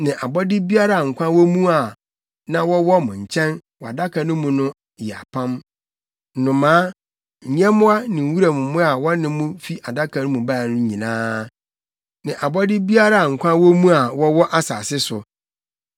ne abɔde biara a nkwa wɔ mu a na wɔwɔ mo nkyɛn wɔ Adaka no mu yɛ apam: nnomaa, nyɛmmoa ne wuram mmoa a wɔne mo fi Adaka no mu bae no nyinaa, ne abɔde biara a nkwa wɔ mu a wɔwɔ asase so.